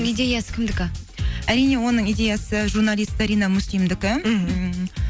идеясы кімдікі әрине оның идеясы журналист зарина муслимдікі мхм